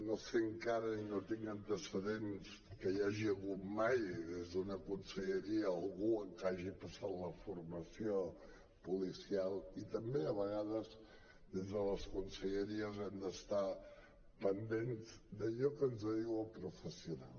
no sé encara ni tinc antecedents que hi hagi hagut mai des d’una conselleria algú que hagi passat la formació policial i també a vegades des de les conselleries hem d’estar pendents d’allò que ens diu el professional